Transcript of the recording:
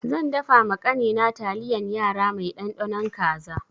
Zan dafa ma ƙani na taliyan yara mai ɗanɗanon kaza.